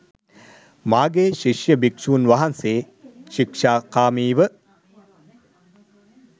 මාගේ ශිෂ්‍ය භික්ෂූන් වහන්සේ ශික්‍ෂාකාමීව